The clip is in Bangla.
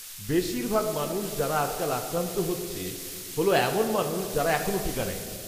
বেশিরভাগ মানুষ যারা আজকাল আক্রান্ত হচ্ছে হল এমন মানুষ যারা এখনও টিকা নেয় নি।